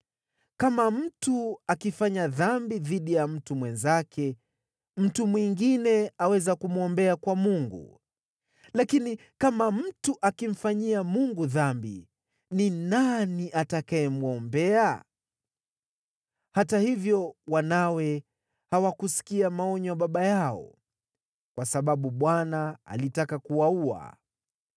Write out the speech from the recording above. Kama mtu akifanya dhambi dhidi ya mtu mwenzake, mtu mwingine aweza kumwombea kwa Mungu, lakini kama mtu akimfanyia Mungu dhambi, ni nani atakayemwombea?” Hata hivyo wanawe hawakusikia maonyo ya baba yao, kwa sababu Bwana alitaka kuwaua.